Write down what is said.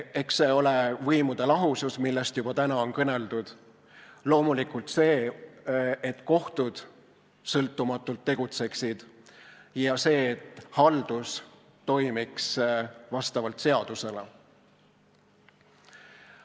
Eks see ole võimude lahusus, millest täna on juba kõneldud, ning loomulikult see, et kohtud tegutseksid sõltumatult, ja see, et haldus toimiks seaduste kohaselt.